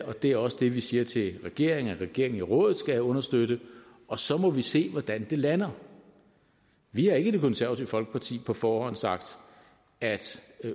og det er også det vi siger til regeringen at regeringen i rådet skal understøtte og så må vi se hvordan det lander vi har i det konservative folkeparti på forhånd sagt at